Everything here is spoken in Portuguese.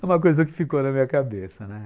É uma coisa que ficou na minha cabeça, né?